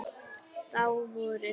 Þá voru